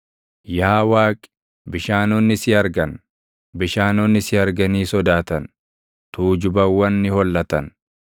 Yaa Waaqi, bishaanonni si argan; bishaanonni si arganii sodaatan; tuujubawwan ni hollatan.